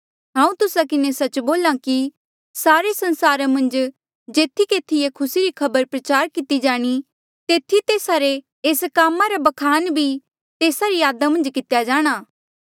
हांऊँ तुस्सा किन्हें सच्च बोल्हा कि सारे संसारा मन्झ जेथी केथी ये खुसी री खबर प्रचार किती जाणी तेथी तेस्सा रे एस कामा रा ब्खान भी तेस्सा री यादा मन्झ कितेया जाणा